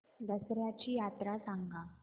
दसर्याची यात्रा सांगा